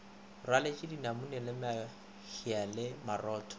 rwaleletše dinamune mahea le marotho